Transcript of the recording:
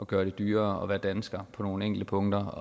gøre det dyrere at være dansker på nogle enkelte punkter